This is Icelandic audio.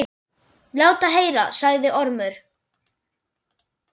Lát heyra, sagði Ormur.